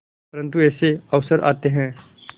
परंतु ऐसे अवसर आते हैं